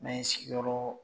N'an ye sigiyɔrɔ